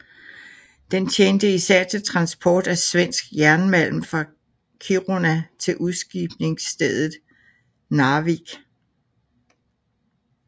Den tjente især til transport af svensk jernmalm fra Kiruna til udskibningsstedet Narvik